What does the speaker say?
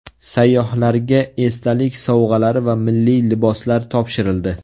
Sayyohlarga esdalik sovg‘alari va milliy liboslar topshirildi.